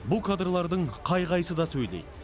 бұл кадрлардың қай қайсысы да сөйлейді